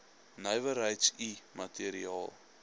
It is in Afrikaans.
nywerheids i materiaal